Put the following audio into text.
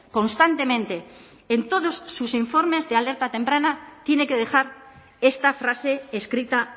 constantemente en todos sus informes de alerta temprana tiene que dejar esta frase escrita